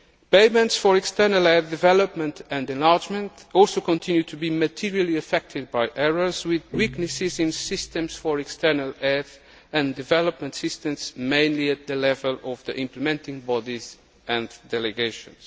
Payments for External aid, development and enlargement also continue to be materially affected by errors, with weaknesses in systems for external aid and development assistance mainly at the level of the implementing bodies and delegations.